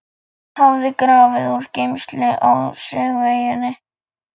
hafði grafið úr gleymsku á Sögueyjunni.